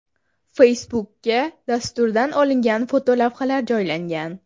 Facebook’ga dasturdan olingan fotolavhalar joylangan.